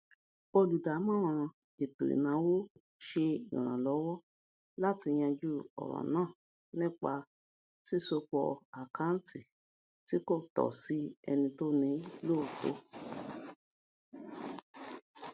olùdámọràn ètò ináwó ṣe iranlọwọ láti yanjú ọràn náà nípa ṣísọpọ àkanti tí kò tọ sí ẹni toni lóòtó